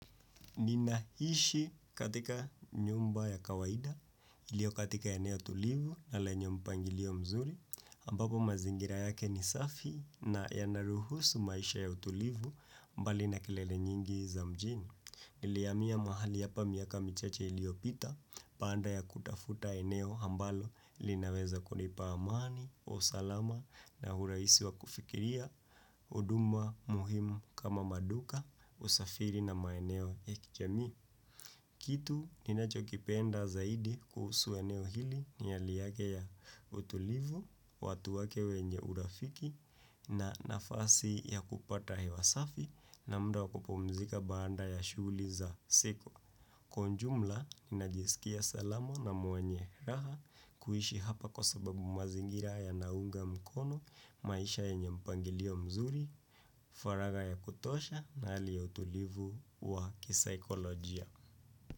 Ninaishi katika nyumba ya kawaida ilio katika eneo tulivu na lenye mpangilio mzuri, ambapo mazingira yake ni safi na yanaruhusu maisha ya utulivu mbali na kelele nyingi za mjini. Nilihamia mahali hapa miaka michache iliopita, baada ya kutafuta eneo ambalo linaweza kunipa amani, usalama na urahisi wa kufikiria, huduma muhimu kama maduka, usafiri na maeneo ya kijamii. Kitu ninacho kipenda zaidi kuhusu eneo hili ni hali yake ya utulivu, watu wake wenye urafiki na nafasi ya kupata hewa safi na muda wakupumzika baada ya shughuli za siku. Kwa ujumla ninajisikia salama na mwenye raha, kuishi hapa kwa sababu mazingira yanaunga mkono, maisha yenye mpangilio mzuri, faragha ya kutosha na hali ya utulivu wa kisaikolojia.